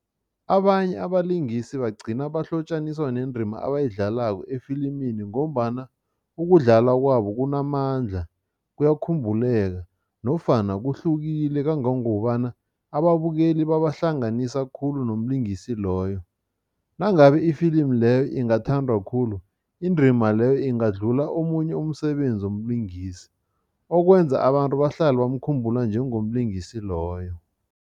Abanye abalingisi bagcina bahlotjaniswa nendima abayidlalako efilimini ngombana ukudlala kwabo kunamandla, kuyakhumbuleka nofana kuhlukile kangangokubana ababukeli babahlanganisa khulu nomlingisi loyo. Nangabe ifilimu leyo ingathandwa khulu, indima leyo ingadlula omunye umsebenzi womlingisi, okwenza abantu bahlale bamkhumbula njengomlingisi loyo.